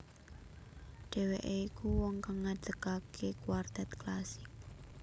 Dheweke iku wong kang ngadekake kuartet klasik